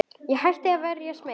Ég hætti að vera smeyk.